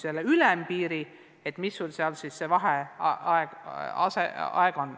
Meie oleme siin andnud ülempiiri.